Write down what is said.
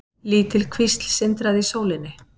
Lítil kvísl sindraði í sólinni.